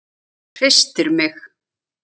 Hristir mig.